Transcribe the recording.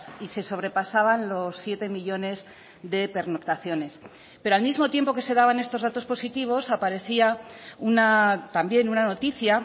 y se sobrepasaban los siete millónes de pernoctaciones pero al mismo tiempo que se daban estos datos positivos aparecía también una noticia